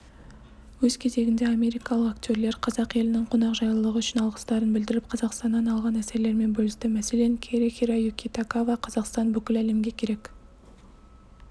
өз кезегінде америкалық актерлер қазақ елінің қонақжайлылығы үшін алғыстарын білдіріп қазақстаннан алған әсерлерімен бөлісті мәселен кэри-хироюки тагава қазақстан бүкіл әлемге керек